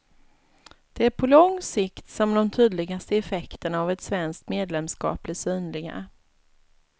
Det är på lång sikt som de tydligaste effekterna av ett svenskt medlemskap blir synliga.